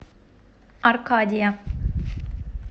аркадия